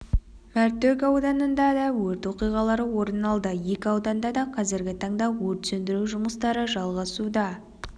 мәртөк ауданында да өрт оқиғалары орын алды екі ауданда да қазіргі таңда өрт сөндіру жұмыстары жалғасуда